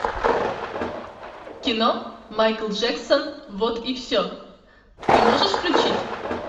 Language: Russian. кино майкл джексон вот и все ты можешь включить